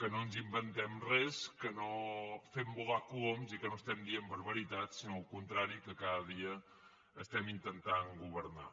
que no ens inventem res que no fem volar coloms i que no diem barbaritats sinó al contrari que cada dia intentem governar